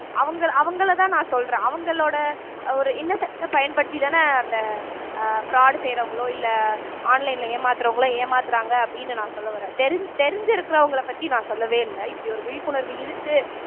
அவங்க அவங்களைதான் நான் சொல்றேன் அவங்களோட ஒரு innocent அ பயன்படுத்திதானே அந்த அஹ் fraud செய்யறவங்களோ இல்ல online ல ஏமாத்தறவங்களோ ஏமாத்தறாங்க அப்படின்னு நான் சொல்ல வர்றேன் தெரிஞ் தெரிஞ்சிருக்கறவங்களைப் பத்தி நான் சொல்லவே இல்ல இப்படி ஒரு விழிப்புணர்வு இருக்கு